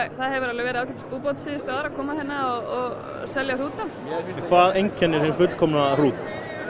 það hefur alveg verið ágætis búbót síðustu ár að koma hérna og selja hrúta hvað einkennir hin fullkomna hrút